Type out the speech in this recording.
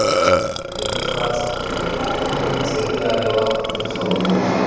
netefatsa gore matheriale wa botlhokwa